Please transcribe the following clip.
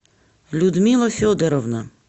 людмила федоровна